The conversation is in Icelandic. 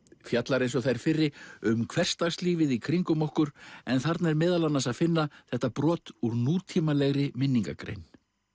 fjallar eins og þær fyrri um hversdagslífið í kringum okkur en þarna er meðal annars að finna þetta brot úr nútímalegri minningargrein